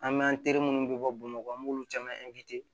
An bɛ an teri minnu be bɔ bamakɔ an b'olu caman